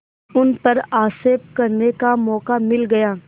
उन पर आक्षेप करने का मौका मिल गया